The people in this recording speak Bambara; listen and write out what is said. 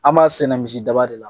An b'a sɛnɛ misi daba de la.